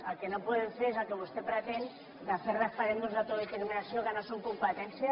el que no podem fer és el que vostè pretén de fer referèndums d’autodeterminació que no són competència